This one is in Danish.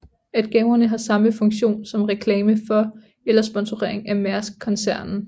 At gaverne har samme funktion som reklame for eller sponsorering af Maersk koncernen